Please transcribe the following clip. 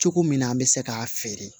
Cogo min na an bɛ se k'a feere